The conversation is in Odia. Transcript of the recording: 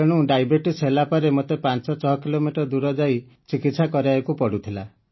ତେଣୁ ଡାଏବେଟିସ୍ ହେଲାପରେ ମୋତେ ୫୬ କିଲୋମିଟର ଦୂର ଯାଇ ଚିକିତ୍ସା କରାଇବାକୁ ପଡୁଥିଲା